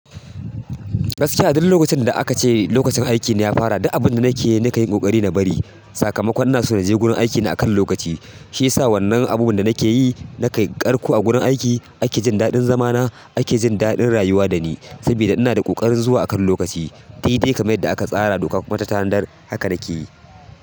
Gaskiya a duk lokacin da aka ce lokacin aiki na ya fara, duk abin da nake yi nakan yi ƙoƙari na bari. Sakamakon ina so na je gurin aikina a kan lokaci. Shi yasa wannan abubuwan da nake yi, nake yi a karko a gurin aiki. Ake jin daɗin zamana, ake jin daɗin rayuwa da ni saboda ina da ƙoƙarin zuwa akan lokaci. Dadai kamar yanda aka tsara, doka kuma ta tanadar haka nakeyi.